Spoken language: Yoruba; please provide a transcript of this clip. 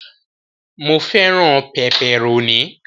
Mó fẹràn pẹpẹrónì.